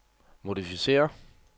modificér